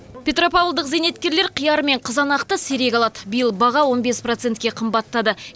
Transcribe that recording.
петропавлдық зейнеткерлер қияр мен қызанақты сирек алады биыл баға он бес процентке қымбаттады